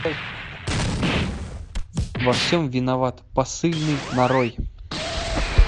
во всем виноват посыльный нарой